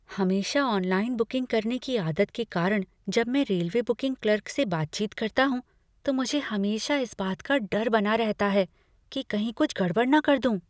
हमेशा online booking करने की आदत के कारण जब मैं रेलवे बुकिंग क्लर्क से बातचीत करता हूँ तो मुझे हमेशा इस बात का डर बना रहता है कि कहीं कुछ गड़बड़ न कर दूँ।